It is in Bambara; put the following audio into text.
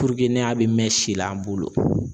ne a be mɛ si la an bolo